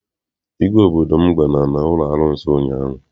Igwe obodo m gara n'ụlọ arụsị ụnyaahụ.